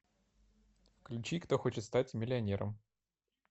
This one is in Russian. включи кто хочет стать миллионером